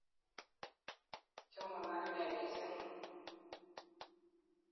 Chamon akine missing'.